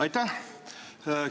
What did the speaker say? Aitäh!